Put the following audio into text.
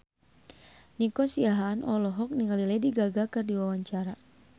Nico Siahaan olohok ningali Lady Gaga keur diwawancara